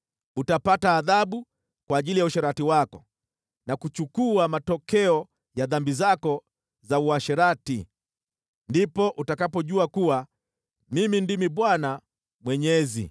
Utapata adhabu kwa ajili ya uasherati wako na kuchukua matokeo ya dhambi zako za uasherati. Ndipo utakapojua kuwa Mimi ndimi Bwana Mwenyezi.”